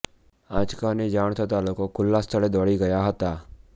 આંચકાની જાણ થતાં લોકો ખુલ્લા સ્થળે દોડી ગયા હતા